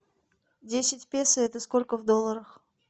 десять песо это сколько в долларах